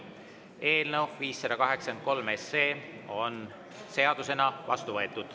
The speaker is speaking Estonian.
Eelnõu 583 on seadusena vastu võetud.